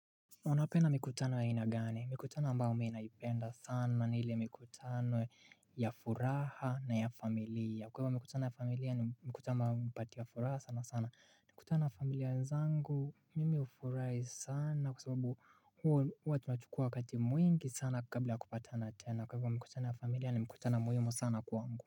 Unapenda mikutano ya ina gani? Mikutano ambayo mimi naipenda sana ni ile mikutano ya furaha na ya familia. Kwa hivyo mkutano ya familia ni mkutano mpati ya furaha sana sana. Mikutano ya familia zangu mimi ufurahi sana kwa sababu huwa tunachukua wakati mwingi sana kabla ya kupatana tena. Kwa hivyo mkutano wa familia ni mkutano muhimu sana kwangu.